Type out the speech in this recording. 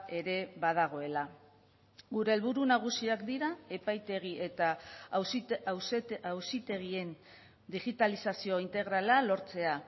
ere badagoela gure helburu nagusiak dira epaitegi eta auzitegien digitalizazio integrala lortzea